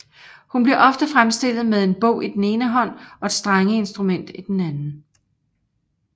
Hun bliver ofte fremstillet med en bog i den ene hånd og et strengeinstrument i den anden